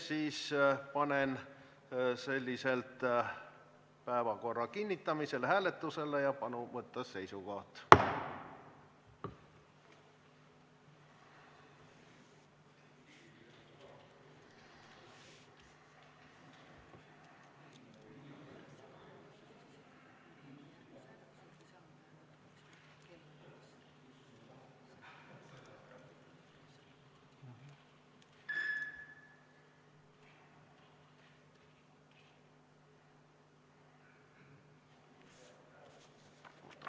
Siis panen selliselt päevakorra kinnitamise hääletusele ja palun võtta seisukoht.